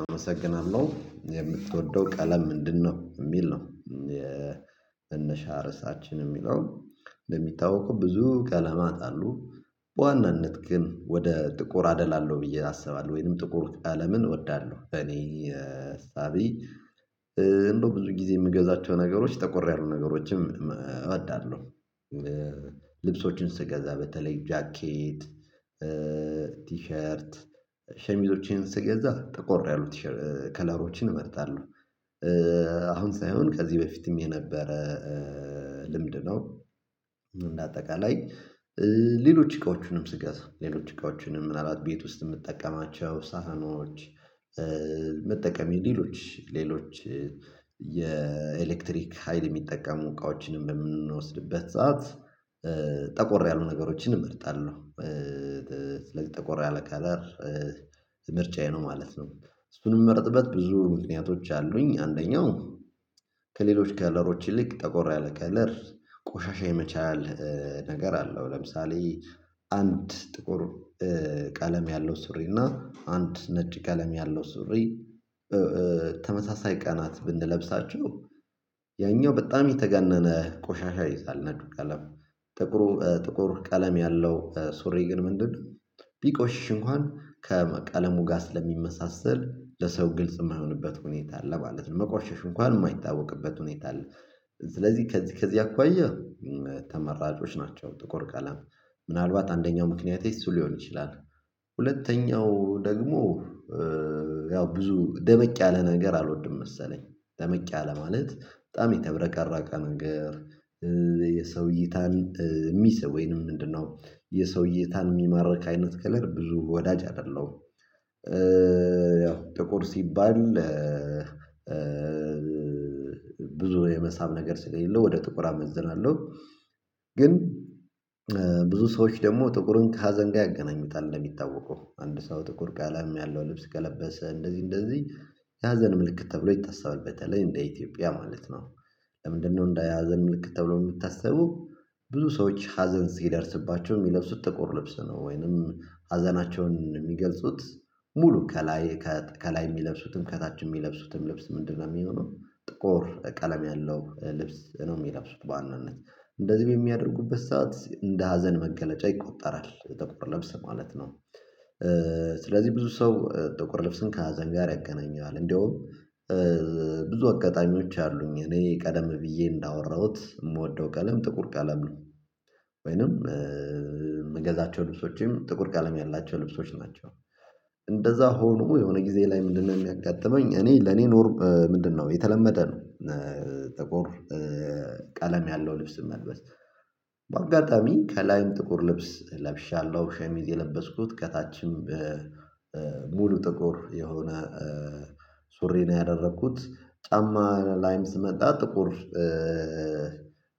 አመሰግናለሁ የምትወደው ቀለም ምንድነው? የሚል ነው። መነሻ ርዕሳችን የሚለው እንደሚታወቁ ብዙ ቀለማት አሉ በዋናነት ግን ወደ ጥቁር አደላለሁ ብዬ አስባለሁ ወይንም ጥቁር ቀለምን እወዳለሁ። በኔ እሳቤ እንደው ብዙ ጊዜ የምገዛቸው ነገሮች ተቆር ያሉ ነገሮችም እወዳለሁ። ልብሶችን ስገዛ በተለይ ጃኬት ቲሸርት ሸሚዞችን ስገዛ ጠቆር ያሉ ከለሮችን እመርጣለሁ። አሁን ሳይሆን ከዚህ በፊትም የነበረ ልምድ ነው። እንደ አጠቃላይ ሌሎች እቃዎቹንም ስገዛ ሌሎች እቃዎቹንም ምናልባት ቤት ውስጥ የምጠቀማቸው ሳህኖች መጠቀም የሌሎች ሌሎች የኤሌክትሪክ ሀይል የሚጠቀሙ እቃዎችንም በምንወስድበት ሰዓት ጠቆር ያሉ ነገሮችን እመርጣለሁ። ለጠቆር ያለ ከለር ምርጫዬ ነው ማለት ነው። እሱን የምመረጥበት ብዙ ምክንያቶች አሉኝ አንደኛው ከሌሎች ከለሮች ይልቅ ጠቆር ያለ ከለር ቆሻሻ የመቻል ነገር አለው። ለምሳሌ አንድ ጥቁር ቀለም ያለው ሱሪ እና አንድ ነጭ ቀለም ያለው ሱሪ። ተመሳሳይ ቀናት ብንለብሳቸው ያኛው በጣም የተጋነነ ቆሻሻ ይይዛል። ነጩ ቀለም ጥቁር ጥቁር ቀለም ያለው ሱሪ ግን ምንድነው ቢቆሽሽ እንኳን ከቀለሙ ጋር ስለሚመሳሰል ለሰው ግልጽ የማይሆንበት ሁኔታ አለ ማለት ነው። መቆሸሹ እንኳን የማይታወቅበት ሁኔታ አለ። ስለዚህ ከዚህ ከዚህ አኳያ ተመራጮች ናቸው። ጥቁር ቀለም ምናልባት አንደኛው ምክንያት እሱ ሊሆን ይችላል። ሁለተኛው ደግሞ ያው ብዙ ደመቅ ያለ ነገር አልወድም። መሰለኝ ደመቅ ያለ ማለት በጣም የተብረቀረቀ ነገር የሰው ይታን የሚስብ ወይንም ምንድነው የሰው እይታን የሚማርክ አይነት ከለር ብዙ ወዳጅ አይደለሁም። ያው ጥቁር ሲባል በ ብዙ የመሳብ ነገር ስለሌለው ወደ ጥቁር አመዝናለሁ። ግን ብዙ ሰዎች ደግሞ ጥቁሩን ከሀዘን ጋር ያገናኝታል እንደሚታወቀው አንድ ሰው ጥቁር ቀለም ያለው ልብስ ከለበሰ እንደዚህ እንደዚህ የሀዘን ምልክት ተብሎ ይታሰባል። በተለይ እንደ ኢትዮጵያ ማለት ነው። ለምንድነው እንደ ሀዘን ምልክት ተብሎ የሚታሰበው? ብዙ ሰዎች ሀዘን ሲደርስባቸው የሚለብሱት ጥቁር ልብስ ነው። ወይንም ሀዘናቸውን የሚገልጹት ሙሉ ከላይ ከላይ የሚለብሱትም ከታች የሚለብሱትም ልብስ ምንድነው የሚሆነው ጥቁር ቀለም ያለው ልብስ ነው። የሚለብሱት በዋናነት እንደዚህ በሚያደርጉበት ሰዓት እንደ ሀዘን መገለጫ ይቆጠራል የጥቁር ለብስ ማለት ነው። ስለዚህ ብዙ ሰው ጥቁር ልብስን ከሀዘን ጋር ያገናኘዋል። እንደውም ብዙ አጋጣሚዎች አሉኝ እኔ ቀደም ብዬ እንዳወራሁት የምወደው ቀለም ጥቁር ቀለም ነው። ወይንም ምገዛቸው ልብሶችም ጥቁር ቀለም ያላቸው ልብሶች ናቸው። እንደዛ ሆኖ የሆነ ጊዜ ላይ ምንድነው የሚያጋጥመኝ እኔ ለኔ ኖርም ምንድነው የተለመደ ነው። ጥቁር ቀለም ያለው ልብስ መልበስ በአጋጣሚ ከላይም ጥቁር ልብስ ለብሻለሁ ሸሚዝ የለበስኩት ከታችም ሙሉ ጥቁር የሆነ ሱሪ ነው ያደረኩት ጫማ ላይም ስመጣ ጥቁር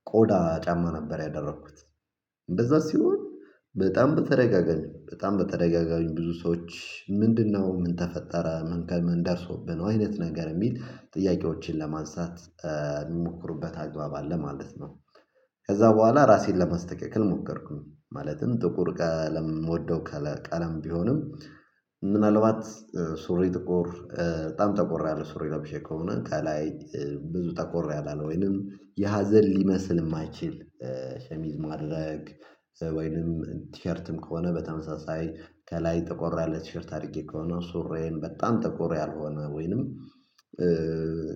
ቆዳ ጫማ ነበር ያደረኩት። እንደዛ ሲሆን በጣም በተደጋጋሚ በጣም በተደጋጋሚ ብዙ ሰዎች ምንድነው ምን ተፈጠረ መንከል ምን ደርሶብህ ነው አይነት ነገር የሚል ጥያቄዎችን ለማንሳት የሚሞክሩበት አግባብ አለ ማለት ነው። ከዛ በኋላ ራሴን ለመስተካከል ሞከርኩኝ ማለትም ጥቁር ቀለም ምወደው ቀለም ቢሆንም። ምናልባት ሱሪ ጥቁር በጣም ተቆር ያለ ሱሪ ለብሼ ከሆነ ከላይ ብዙ ተቆር ያላለ ወይንም የሀዘን ሊመስል የማይችል ሸሚዝ ማድረግ ወይንም ቲሸርትም ከሆነ በተመሳሳይ ከላይ ጠቆር ያለ ቲሸርት አድርጌ ከሆነ ሱሪዬም በጣም ጥቁር ያልሆነ ወይንም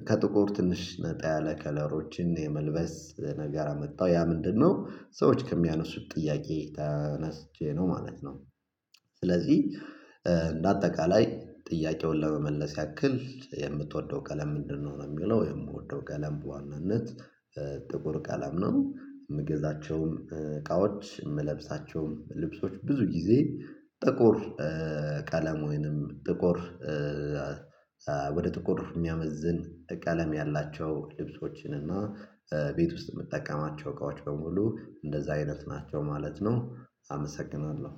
ከጥቁር ትንሽ ነጣ ያለ ከለሮችን የመልበስ ነገር አመጣው ያ ምንድነው ሰዎች ከሚያነሱት ጥያቄ ተነስቼ ነው ማለት ነው። ስለዚህ በአጠቃላይ ጥያቄውን ለመመለስ ያክል የምትወደው ቀለም ምንድነው? ሚለው የምወደው ቀለም በዋናነት ጥቁር ቀለም ነው። የምገዛቸውም እቃዎች የምለብሳቸውም ልብሶች ብዙ ጊዜ ጥቁር ቀለም ወይንም ጥቁር ወደ ጥቁር እኛ የሚያመዝን ቀለም ያላቸው ልብሶችን እና ቤት ውስጥ የምጠቀማቸው እቃዎች በሙሉ እንደዛ አይነት ናቸው ማለት ነው። አመሰግናለሁ